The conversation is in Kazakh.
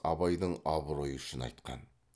абайдың абыройы үшін айтқан